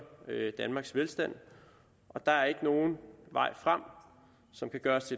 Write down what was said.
danmarks velstand og der er ikke nogen vej frem som kan gøre os